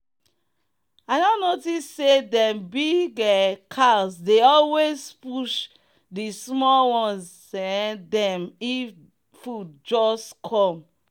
i don notice say dem big um cows dey always push de small ones um them if food just come.